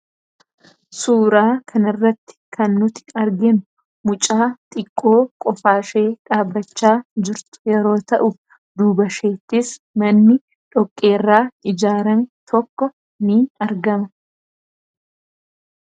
Suuraa kan irratti kan nuti arginu mucaa xiqqoo qofaashee dhaabachaa jirtu yeroo ta'u duuba isheettis manni dhoqqeerraa ijaarame tokko ni argama.